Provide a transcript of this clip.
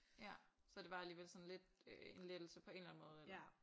Ja så det var alligevel sådan lidt øh en lettelse på en eller anden måde eller?